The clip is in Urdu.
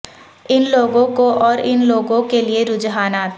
ان لوگوں کو اور ان لوگوں کے لئے رجحانات